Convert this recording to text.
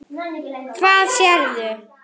Hvað sérðu?